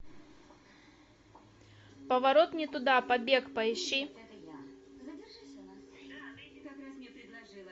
поворот не туда побег поищи